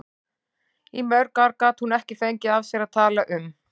Í mörg ár gat hún ekki fengið af sér að tala um